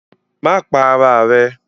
Má pa ara rẹ!